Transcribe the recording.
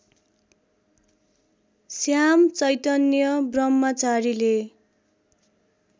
Shyam Chaitanya ब्रह्मचारीले